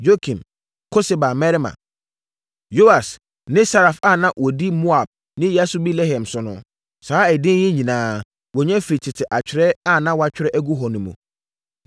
Yokim, Koseba mmarima, Yoas, ne Saraf a na wɔdi Moab ne Yasubi-Lehem so no. Saa edin yi nyinaa, wɔnya firii tete atwerɛ a na wɔatwerɛ agu hɔ mu.